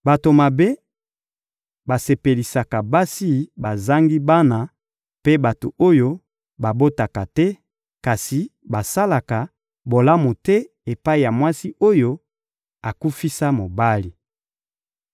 Bato mabe basepelisaka basi bazangi bana mpe bato oyo babotaka te, kasi basalaka bolamu te epai ya mwasi oyo akufisa mobali.